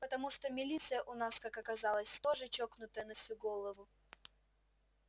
потому что милиция у нас как оказалось тоже чокнутая на всю голову